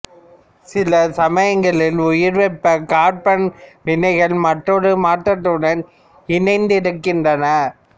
சில சமயங்களில் உயர்வெப்பக் கார்பன் வினைகள் மற்றொரு மாற்றத்துடன் இணைந்திருக்கின்றன